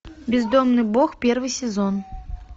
бездомный бог первый сезон